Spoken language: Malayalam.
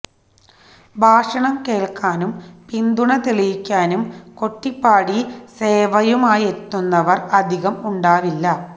ഭാഷണം കേൾക്കാനും പിന്തുണ തെളിയിക്കാനും കൊട്ടിപ്പാടി സേവയുമായെത്തുന്നവർ അധികം ഉണ്ടാവില്ല